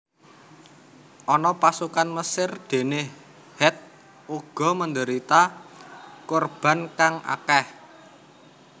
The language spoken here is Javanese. Ana pasukan Mesir dene Het uga menderita korban kang akeh